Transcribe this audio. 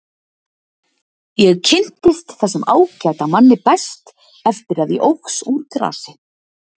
Ég kynntist þessum ágæta manni best eftir að ég óx úr grasi.